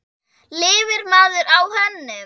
Lifir maður á hönnun?